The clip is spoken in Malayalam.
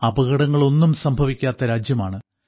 അപകടങ്ങളൊന്നും സംഭവിക്കാത്ത രാജ്യമാണ്